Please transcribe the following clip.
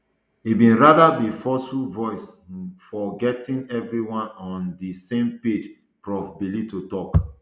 e bin rather be forceful voice um for getting everyone on um di same page prof bellitto tok